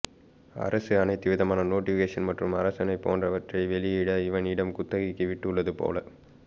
அரசு அனைத்து விதமான நோடிபிகேசன் மற்றும் அரசாணை போன்ற வற்றை வெளி இட இவனிடம் குத்தகைக்கு விட்டு உள்ளது போல